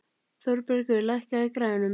Þórbergur, lækkaðu í græjunum.